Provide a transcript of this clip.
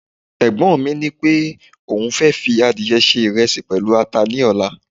egbon mi nipé oun fe fi adìye se iresi pẹlu ata ni ọlá